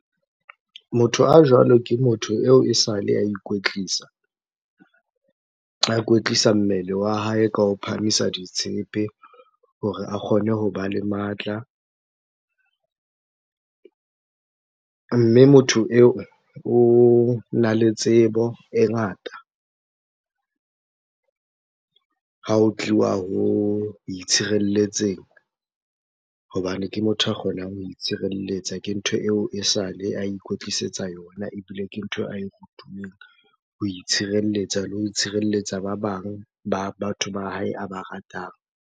Motho a jwalo, ke motho eo e sale a ikwetlisa. A kwetlisa mmele wa hae ka ho phahamisa ditshepe hore a kgone hoba le matla. Mme motho eo, ona le tsebo e ngata ha ho tliwa ho itshireletseng hobane ke motho a kgonang ho itshireletsa. Ke ntho eo e sale a ikwetlisetsa yona, ebile ke ntho ae rutuweng ho itshirelletsa le ho itshireletsa ba bang ba batho ba hae a ba ratang.